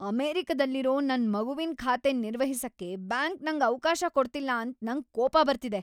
ಅಮೆರಿಕದಲ್ಲಿರೋ ನನ್ ಮಗುವಿನ್ ಖಾತೆನ್ ನಿರ್ವಹಿಸಕ್ಕೆ ಬ್ಯಾಂಕ್ ನಂಗ್ ಅವ್ಕಾಶ ಕೊಡ್ತಿಲ್ಲ ಅಂತ ನಂಗ್ ಕೋಪ ಬರ್ತಿದೆ.